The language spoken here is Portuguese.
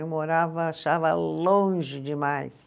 Eu morava, achava longe demais.